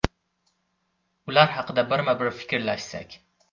Ular haqida birma-bir fikrlashsak.